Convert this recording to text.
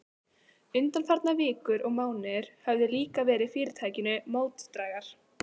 Undanfarnar vikur og mánuðir höfðu líka verið fyrirtækinu mótdrægar.